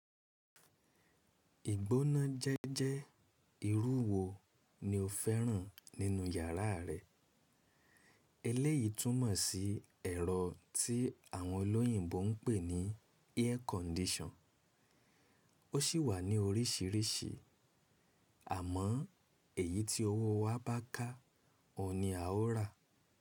Ìgbóná jẹ́jẹ́ irú wo ni o fẹ́ràn nínú yàrá rẹ? Eléyìí túmọ̀ sí ẹ̀rọ tí àwọn olóyìnbo ń pè ní air condition. Ó sì wà ní oríṣìíríṣìí, àmọ́ èyí tí owó wa bá ká, òun ni a ó rà.